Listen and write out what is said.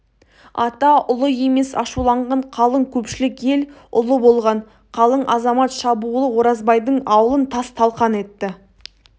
ата ұлы емес ашуланған қалың көпшілік ел ұлы болған қалың азамат шабуылы оразбайдың аулын тас-талқан етті